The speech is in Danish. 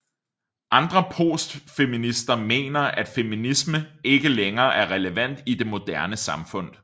Andre postfeminister mener at feminisme ikke længere er relevant i det moderne samfund